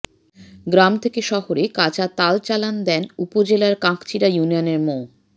গ্রাম থেকে শহরে কাঁচা তাল চালান দেন উপজেলার কাকচিড়া ইউনিয়নের মো